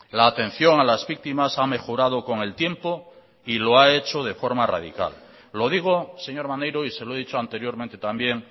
la atención a las víctimas ha mejorado con el tiempo y lo ha hecho de forma radical lo digo señor maneiro y se lo he dicho anteriormente también